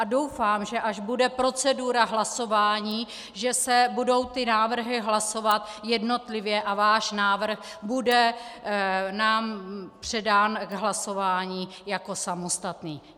A doufám, že až bude procedura hlasování, že se budou ty návrhy hlasovat jednotlivě a váš návrh bude nám předán k hlasování jako samostatný.